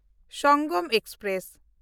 Sangam express